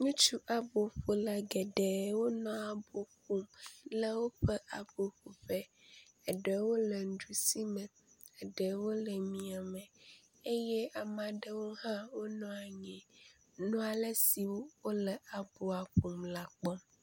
Ŋutsu abɔƒola geɖe wonɔ abɔ ƒoƒe le woƒe abɔ ƒoƒe eɖewo le nuɖusi me eɖewo le miame eye ame aɖewo hã wonɔ anyi nɔ ale si wole abɔa ƒom la kpɔm.